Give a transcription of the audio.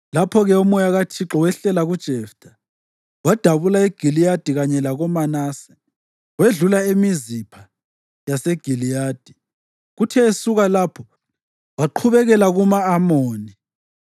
Lapho-ke uMoya kaThixo wehlela kuJeftha. Wadabula eGiliyadi kanye lakoManase, wedlula eMizipha yaseGiliyadi, kuthe esuka lapho waqhubekela kuma-Amoni.